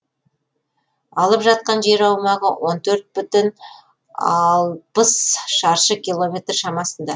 алып жатқан жер аумағы он төрт бүтін алпыс шаршы километр шамасында